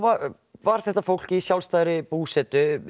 var þetta fólk í sjálfstæðri búsetu